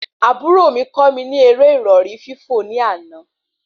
Àbúrò mí kọ́ mi eré ìrọ̀rí fífò ní àna